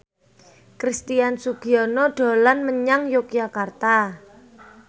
Christian Sugiono dolan menyang Yogyakarta